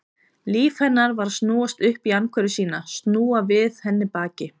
Líf hennar var að snúast upp í andhverfu sína, snúa við henni baki.